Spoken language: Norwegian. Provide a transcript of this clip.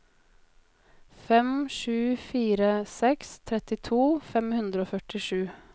fem sju fire seks trettito fem hundre og førtisju